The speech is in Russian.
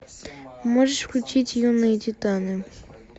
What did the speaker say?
можешь включить юные титаны